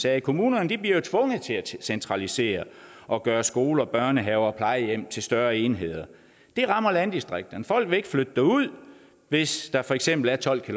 at kommunerne jo bliver tvunget til at centralisere og gøre skoler børnehaver og plejehjem til større enheder det rammer landdistrikterne folk vil ikke flytte derud hvis der for eksempel er tolv